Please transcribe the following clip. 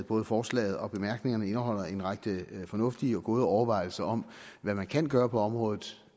både forslaget og bemærkningerne indeholder en række fornuftige og gode overvejelser om hvad man kan gøre på området